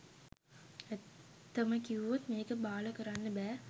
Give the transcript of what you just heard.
ඇත්තම කිව්වොත් මේක බාල කරන්න බෑ